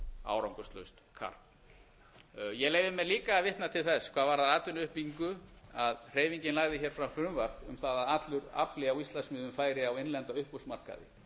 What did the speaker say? árangurslaust karp ég leyfi mér líka að vitna til þess hvað varðar atvinnuuppbyggingu að hreyfingin lagði hér fram frumvarp um allur afli á íslandsmiðum færi á innlenda uppboðsmarkaði